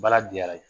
Baara diyara ye